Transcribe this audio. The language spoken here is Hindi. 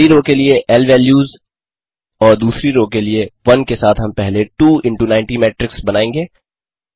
पहली रो के लिए इल वैल्यूज़ और दूसरी रो के लिए वन के साथ हम पहले 2 इनटू 90 मेट्रिक्स बनायेंगे